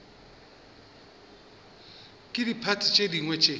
ke diphathi tše dingwe tše